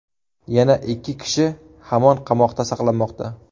Yana ikki kishi hamon qamoqda saqlanmoqda.